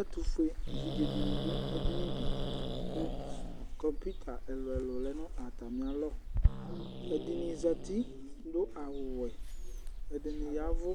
Ɛtufue vidzedini du ɛdini di ku kɔpuita ɛlu ɛlu lɛ nu atamialɔ ɛdini zati nu awu wɛ ɛdini yavu